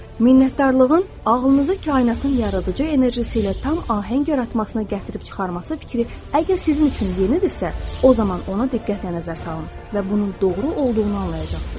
Minnətdarlığın ağlınıza kainatın yaradıcı enerjisi ilə tam ahəng yaratmasına gətirib çıxarması fikri əgər sizin üçün yenidirsə, o zaman ona diqqətlə nəzər salın və bunun doğru olduğunu anlayacaqsınız.